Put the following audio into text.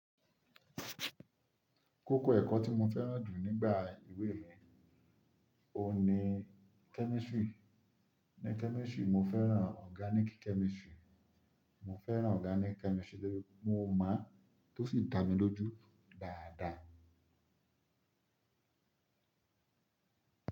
Kókó ẹ̀kọ́ tí mo fẹ́ràn jù nígbà ìwé mi ni, òní Chemistry. Ní Chemistry mo fẹ́ràn Organic Chemistry. Mo fẹ́ràn Organic Chemistry torí mo mọ̀ tó sì dá mi lójú dáadáa.